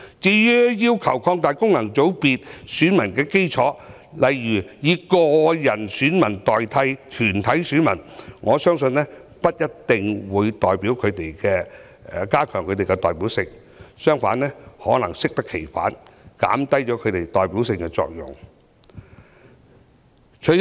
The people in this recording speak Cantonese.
至於有人要求擴大功能界別選民的基礎，例如以個人選民代表團體選民，我相信不一定可加強有關界别的代表性，甚至可能會適得其反，減低其代表性。